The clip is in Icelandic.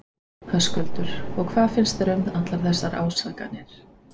Höskuldur: Og hvað finnst þér um allar þessar ásakanir?